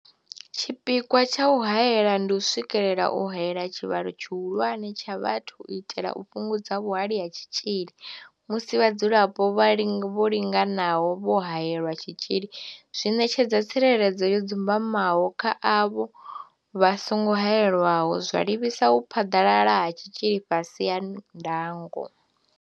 Tshipikwa tsha u haela ndi u swikelela u haela tshivhalo tshihulwane tsha vhathu u itela u fhungudza vhuhali ha tshitzhili, musi vhadzulapo vho linganaho vho haelelwa tshitzhili zwi ṋetshedza tsireledzo yo dzumbamaho kha avho vha songo haelwaho, zwa livhisa u phaḓalala ha tshitzhili fhasi ha ndango.